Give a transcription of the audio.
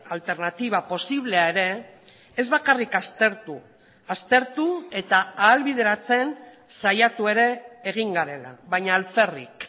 alternatiba posiblea ere ez bakarrik aztertu aztertu eta ahalbideratzen saiatu ere egin garela baina alferrik